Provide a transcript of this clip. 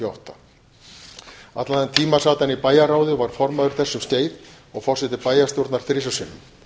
átta allan þann tíma sat hann í bæjarráði og var formaður þess um skeið og forseti bæjarstjórnar þrisvar sinnum